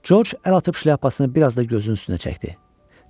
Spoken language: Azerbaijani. Corc əl atıb şlyapasını biraz da gözünün üstünə çəkdi.